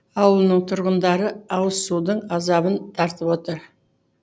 ауылының тұрғындары ауызсудың азабын тартып отыр